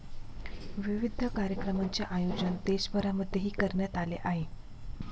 विविध कार्यक्रमांचे आयोजन देशभरामध्येही करण्यात आले आहे.